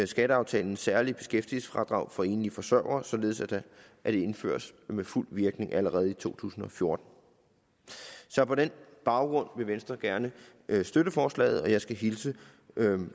skatteaftalens særlige beskæftigelsesfradrag for enlige forsørgere således at det indføres med fuld virkning allerede i to tusind og fjorten så på den baggrund vil venstre gerne støtte forslaget og jeg skal hilse